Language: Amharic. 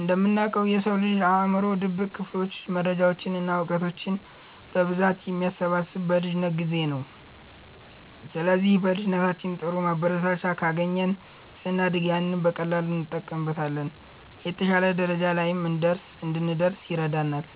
እንደምናውቀው፣ የሰው ልጅ አእምሮ ድብቅ ክፍሎች መረጃዎችን እና እውቀቶችን በብዛት የሚሰበስቡት በልጅነት ጊዜ ነው። ስለዚህ በልጅነታችን ጥሩ ማበረታቻ ካገኘን፣ ስናድግ ያንን በቀላሉ እንጠቀምበታለን፤ የተሻለ ደረጃ ላይም እንድንደርስ ይረዳናል።